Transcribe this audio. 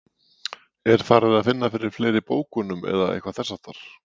Er það farið að finna fyrir fleiri bókunum eða eitthvað þess háttar?